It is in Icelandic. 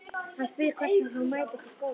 Hann spyr hvers vegna hún mæti ekki í skólanum.